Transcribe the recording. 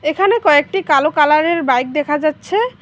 এখানে কয়েকটি কালো কালারের বাইক দেখা যাচ্ছে।